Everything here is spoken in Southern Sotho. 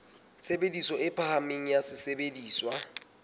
tshebediso e phahameng ya sesebediswa